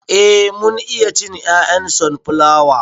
Eh mun iya cin 'ya'yan sonflawa.